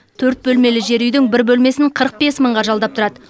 төрт бөлмелі жер үйдің бір бөлмесін қырық бес мыңға жалдап тұрады